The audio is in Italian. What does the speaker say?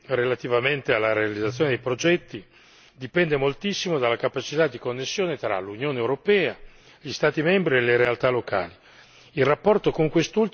Le nostre decisioni relativamente alla realizzazione dei progetti dipendono moltissimo dalla capacità di connessione tra l'Unione europea, gli Stati membri e le realtà locali.